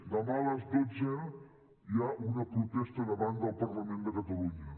demà a les dotze hi ha una protesta davant del parlament de catalunya